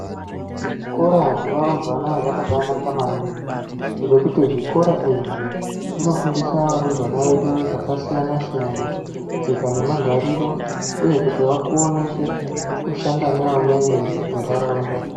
Zvikora zvevarumbwana zvakabanaka maningi ngekuti zvikora izvi zvinofundisa varumbwana vedu zvakasiyana siyana. Tsika nemagariro uye kuti vakone kushanda nevamweni muntaraunda.